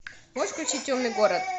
можешь включить темный город